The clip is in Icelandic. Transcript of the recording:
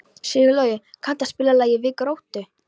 Sigurlogi, kanntu að spila lagið „Við Gróttu“?